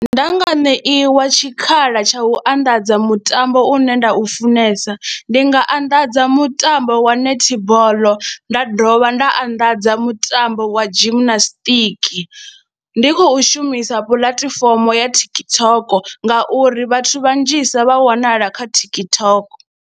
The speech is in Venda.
Nda nga ṋeiwa tshikhala tsha u anḓadza mutambo une nda u funesa ndi nga anḓadza mutambo wa netball, nda dovha nda anḓadza mutambo wa gymnastic na ndi khou shumisa puḽatifomo ya TikTok ngauri vhathu vhanzhisa vha wanala kha TikTok.